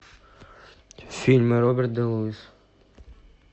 фильмы роберт де луис